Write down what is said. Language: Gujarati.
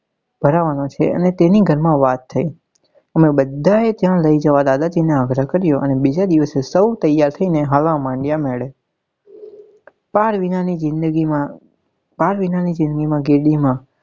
ભરવાનો છે અને તેની ઘર માં વાત અમે બધા એ ત્યાં લઇ જવા દાદાજી ને આગ્રહ કર્યો અને બીજા દિવસે સૌ તૈયાર થઇ ને હાલવા માંડ્યા મેડે પાર વિના ની જિંદગી માં પાર વિના ની જિંદગી માં ગેડી માં